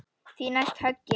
Því næst höggið.